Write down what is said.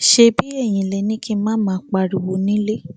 ṣebí eyín lẹ ní kí n má máa pariwo nílẹ